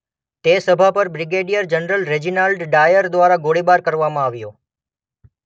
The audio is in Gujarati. તે સભાપર બ્રિગેડિયર જનરલ રેજિનાલ્ડ ડાયર દ્વારા ગોળીબાર કરવામાં આવ્યો.